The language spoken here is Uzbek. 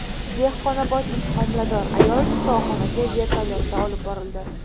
Dehqonobodlik homilador ayol shifoxonaga vertolyotda olib borildi .